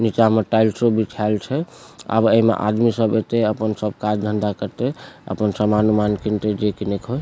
नीचा में टाइल्सो बिछाल छै आब ए में आदमी सब एते अपन सब काज धंधा करते अपन सामान-उमान किनते जे किने के हो।